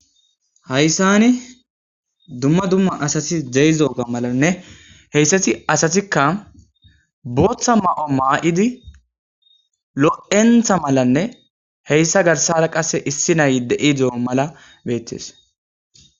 Hayssani dumma dumma asati zeeyzoga malanne heyssati asatikka booththa ma7o maa7idi lo7entha malanne heyssa garsara qasse issi nay de7i de7o mala beettes.